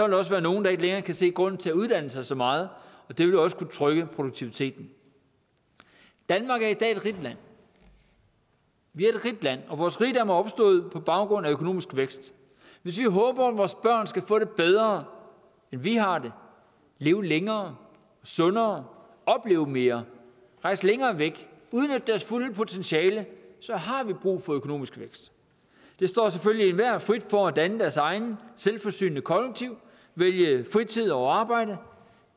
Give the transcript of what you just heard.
der også være nogle der ikke længere kan se grunden til at uddanne sig så meget og det vil også kunne trykke produktiviteten danmark er i dag et rigt land vi er et rigt land og vores rigdom er opstået på baggrund af økonomisk vækst hvis vi har håb om at vores børn skal få det bedre end vi har det leve længere sundere opleve mere rejse længere væk udnytte deres fulde potentiale så har vi brug for økonomisk vækst det står selvfølgelig enhver frit for at danne deres eget selvforsynende kollektiv vælge fritid over arbejde